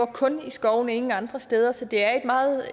kun i skovene ingen andre steder så det er et meget